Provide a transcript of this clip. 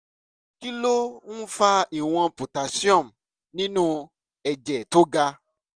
kí ló ń fa ìwọ̀n potassium nínú ẹ̀jẹ̀ tó ga?